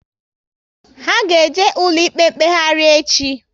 Ha ga eje ụlọ ikpe mkpeghari echi